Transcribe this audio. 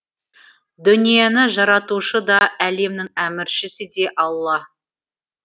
дүниені жаратушы да әлемнің әміршісі де алла